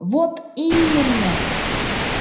вот именно